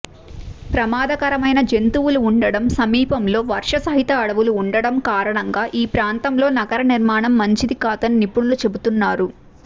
ప్రమాదకరమైన జంతువులు ఉండటం సమీపంలో వర్షసహిత అడవులు ఉండటం కారణంగా ఈ ప్రాంతంలో నగర నిర్మాణం మంచిదికాదని నిపుణులు చెపుతున్నారు